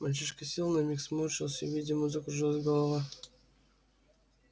мальчишка сел на миг сморщился видимо закружилась голова